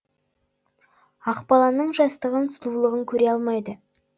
ақбаланың жастығын сұлулығын көре алмайды